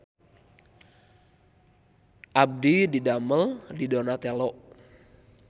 Abdi didamel di Donatello